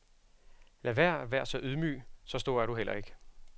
Lad vær og vær så ydmyg, så stor er du heller ikke.